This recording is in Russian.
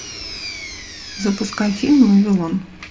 запускай фильм вавилон